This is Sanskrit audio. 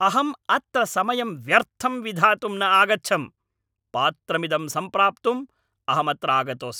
अहं अत्र समयं व्यर्थं विधातुं न आगच्छम्! पात्रमिदं सम्प्राप्तुम् अहम् अत्र आगतोऽस्मि।